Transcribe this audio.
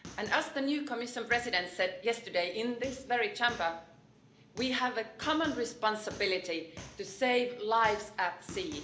As the new Commission President said yesterday in this very Chamber, we have a common responsibility to save lives at sea.